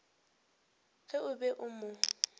ge o be o mo